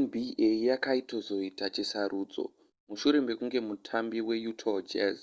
nba yakaitozoita chisarudzo mushure mekunge mutambi weutah jazz